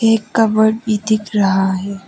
एक कपड भी दिख रहा है।